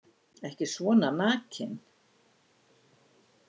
Ekki svona nakin.